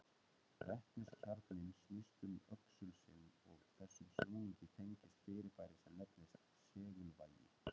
Vetniskjarninn snýst um öxul sinn og þessum snúningi tengist fyrirbæri sem nefnist segulvægi.